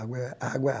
Água é água é